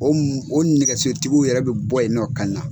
O o nɛgɛsotigiw yɛrɛ bɛ bɔ yen nɔ ka na